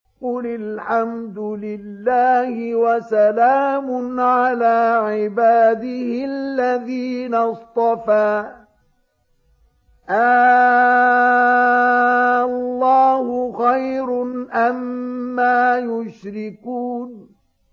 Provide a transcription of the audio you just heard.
قُلِ الْحَمْدُ لِلَّهِ وَسَلَامٌ عَلَىٰ عِبَادِهِ الَّذِينَ اصْطَفَىٰ ۗ آللَّهُ خَيْرٌ أَمَّا يُشْرِكُونَ